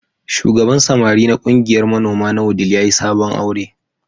Shugaban samari na ƙungiyar manoma na Wudil ya yi sabon aure.